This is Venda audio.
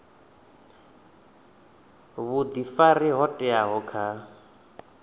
a vhuifari ho teaho kha